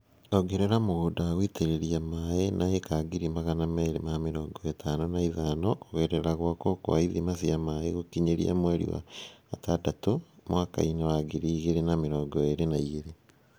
Ongerera mũgũnda wa gũitĩrĩria maĩ na ĩĩka ngiri magama merĩ ma mĩrongo ĩtano na ithano kũgerera gwakwo kwa ithima cia maĩ gũkinyĩria mweri wa ĩtandatũ mwaka wa ngiri igĩrĩ na mĩrongo ĩrĩ na igĩrĩ